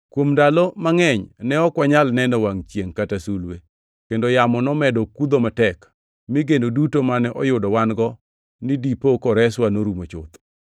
Kuom ndalo mangʼeny, ne ok wanyal neno wangʼ chiengʼ kata sulwe, kendo yamo nomedo kudho matek mi geno duto mane oyudo wan-go ni dipo koreswa norumo chuth.